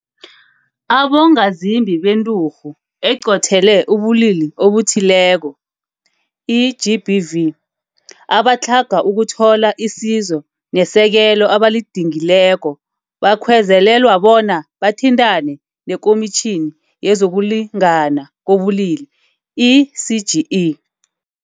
Abongazimbi beNturhu eQothele ubuLili obuThile ko, i-GBV, abatlhaga ukuthola isizo nesekelo abalidingileko bakhwe zelelwa bona bathintane neKomitjhini YezokuLi ngana KoBulili, i-CGE.